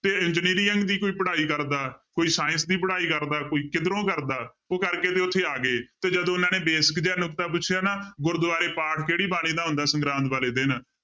ਤੇ engineer ਦੀ ਕੋਈ ਪੜ੍ਹਾਈ ਕਰਦਾ, ਕੋਈ science ਦੀ ਪੜ੍ਹਾਈ ਕਰਦਾ ਕੋਈ ਕਿੱਧਰੋਂ ਕਰਦਾ ਉਹ ਕਰਕੇ ਤੇ ਉੱਥੇ ਆ ਗਏ ਤੇ ਜਦੋਂ ਉਹਨਾਂ ਨੇ basic ਜਿਹਾ ਨੁਕਤਾ ਪੁੱਛਿਆ ਨਾ ਗੁਰਦੁਆਰੇ ਪਾਠ ਕਿਹੜੀ ਬਾਣੀ ਦਾ ਹੁੰਦਾ ਸੰਗਰਾਂਦ ਵਾਲੇ ਦਿਨ